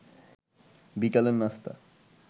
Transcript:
বিকালের নাস্তা